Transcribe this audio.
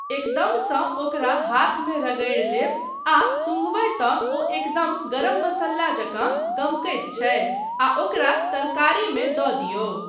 एकदमसँ ओकरा हाथमे रगड़ि लेब आ सुँघबै तँ ओ एकदम गरम मासाला जकाँ गमकैत छै आ ओकरा तरकारीमे दऽ दियौ।